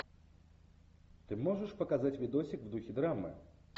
ты можешь показать видосик в духе драмы